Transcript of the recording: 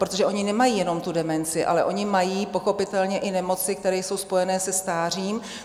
Protože oni nemají jenom tu demenci, ale oni mají pochopitelně i nemoci, které jsou spojené se stářím.